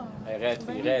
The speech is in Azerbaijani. Eyvallah!